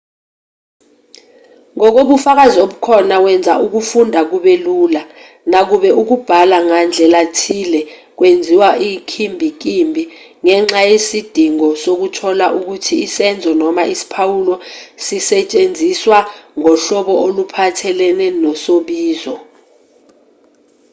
ngokobufakazi obukhona kwenza ukufunda kube lula nakuba ukubhala ngandlelathile kwenziwa inkimbinkimbi ngenxa yesidingo sokuthola ukuthi isenzo noma isiphawulo sisetshenziswa ngohlobo oluphathelene nosobizo